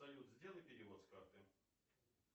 салют сделай перевод с карты